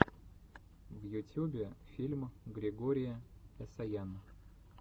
в ютюбе фильм григори эсаян